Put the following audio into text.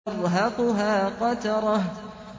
تَرْهَقُهَا قَتَرَةٌ